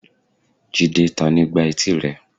jide, tani gbá eti rẹ?